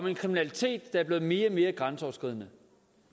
af kriminalitet der er blevet mere og mere grænseoverskridende